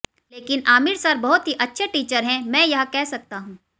लेकिन आमिर सर बहुत ही अच्छे टीचर हैं मैं यह कह सकता हूं